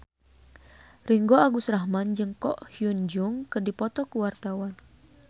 Ringgo Agus Rahman jeung Ko Hyun Jung keur dipoto ku wartawan